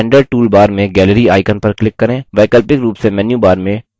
standard toolbar में gallery icon पर click करें